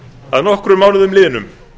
að nokkrum mánuðum launum